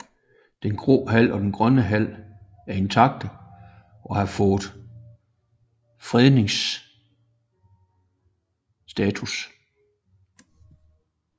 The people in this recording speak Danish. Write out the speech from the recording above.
Den Grå Hal og Den Grønne Hal er intakte og har fået fredningsstatus